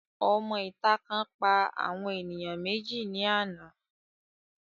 Òmọ ìta kan pa àwọn ènìyàn méjì ní àná